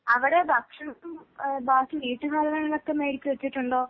അവടെ ഭക്ഷണം ഏ ബാക്കി വീട്ട് സാധനങ്ങളൊക്കെ മേടിച്ച് വെച്ചിട്ടുണ്ടോ?